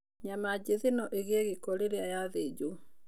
Nyama jĩthĩ no ĩgie gĩko rĩrĩa yathĩjo.